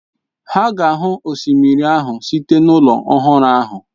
Ha ga-ahụ osimiri ahụ site n'ụlọ ọhụrụ ahụ.